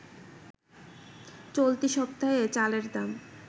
চলতি সপ্তাহে চালের দাম